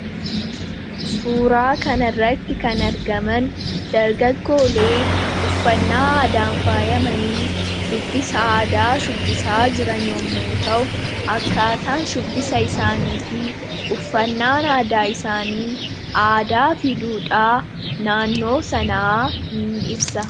Suuraa kanarratti kan argaman dargaggoolee uffannaa aadaan faayamanii shubbisa aadaa shubbisaa jiran yommuu ta'u. Akkaataan shubbisa isaanii fi uffannaan aadaa isaanii aadaa fi duudhaa naannoo sanaa ni ibsa.